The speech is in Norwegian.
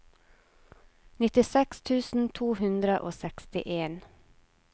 nittiseks tusen to hundre og sekstien